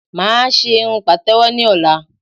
Mà á ṣé irun pàtẹ̀wọ́ ní ọ̀la